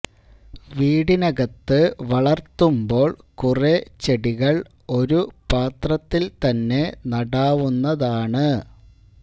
വീട്ടിനകത്ത് വളര്ത്തുമ്പോള് കുറേ ചെടികള് ഒരു പാത്രത്തില് തന്നെ നടാവുന്നതാണ്